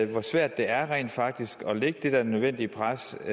hvor svært det rent faktisk er at lægge det der nødvendige pres